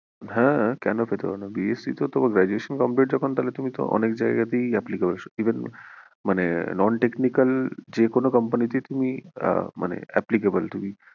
হ্যাঁ কেন পেতে পারো না BSC তে তো graduation complete যখন তাহলে তো তুমি অনেক জায়েগা তেই applicable even মানে non technical যে কোনো company তেই তুমি মানে applicable তুমি